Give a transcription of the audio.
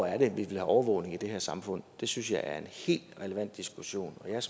er vi vil have overvågning i det her samfund det synes jeg er en helt relevant diskussion og jeg